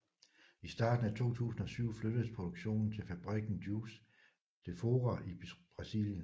I starten af 2007 flyttedes produktionen til fabrikken Juiz de Fora i Brasilien